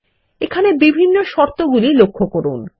এখানের বিভিন্ন শর্তগুলি লক্ষ্য করুন